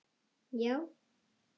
Já